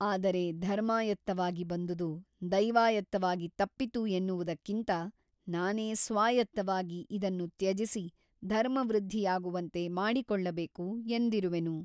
ಆದರೆ ಧರ್ಮಾಯತ್ತವಾಗಿ ಬಂದುದು ದೈವಾಯತ್ತವಾಗಿ ತಪ್ಪಿತು ಎನ್ನುವುದಕ್ಕಿಂತ ನಾನೇ ಸ್ವಾಯತ್ತವಾಗಿ ಇದನ್ನು ತ್ಯಜಿಸಿ ಧರ್ಮವೃದ್ಧಿಯಾಗುವಂತೆ ಮಾಡಿಕೊಳ್ಳಬೇಕು ಎಂದಿರುವೆನು.